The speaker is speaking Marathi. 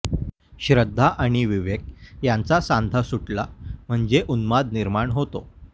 श्रद्धा आणि विवेक यांचा सांधा सुटला म्हणजे उन्माद निर्माण होते